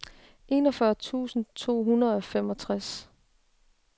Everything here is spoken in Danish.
enogfyrre tusind to hundrede og femogtres